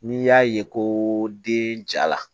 N'i y'a ye ko den ja la